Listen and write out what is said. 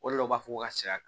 O de la u b'a fɔ ko ka sa